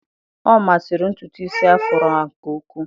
Ọ masịrị ntutu isi Afro a nke ukwuu.